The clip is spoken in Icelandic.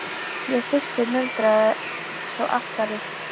Ég er þyrstur muldraði sá aftari.